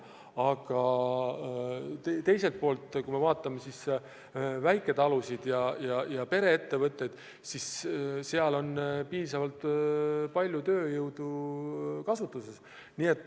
Aga kui me vaatame väiketalusid ja pereettevõtteid, siis seal on päris palju tööjõudu kasutuses.